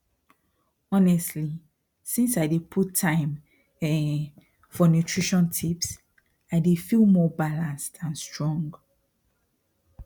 honestly since i dey put time um for nutrition tips i dey feel more balanced and strong